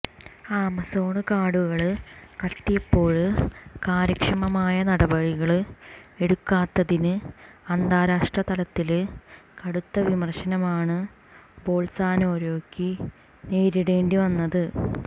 Amazon കാടുകള് കത്തിയപ്പോള് കാര്യക്ഷമമായ നടപടികള് എടുക്കാത്തതിന് അന്താരഷ്ട്ര തലത്തില് കടുത്ത വിമര്ശനമാണ് ബൊള്സനാരോയ്ക്ക് നേരിടേണ്ടി വന്നത്